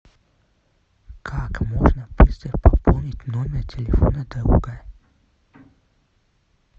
как можно быстро пополнить номер телефона друга